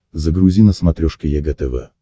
загрузи на смотрешке егэ тв